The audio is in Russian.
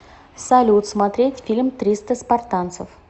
салют смотреть фильм триста спартанцев